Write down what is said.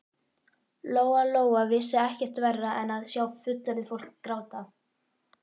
Lóa Lóa vissi ekkert verra en að sjá fullorðið fólk gráta.